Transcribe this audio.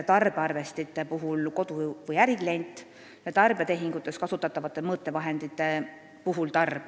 Tarbearvestite puhul saab seda teha kodu- või äriklient, tarbijatehingutes kasutatavate mõõtevahendite puhul tarbija.